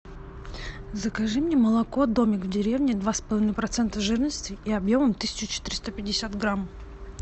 закажи мне молоко домик в деревне два с половиной процента жирности и объемом тысячу четыреста пятьдесят грамм